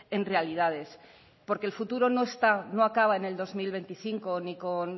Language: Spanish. en realidades porque el futuro no está no acaba en el dos mil veinticinco ni con